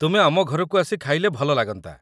ତୁମେ ଆମ ଘରକୁ ଆସି ଖାଇଲେ ଭଲ ଲାଗନ୍ତା ।